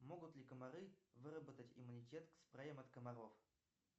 могут ли комары выработать иммунитет к спреям от комаров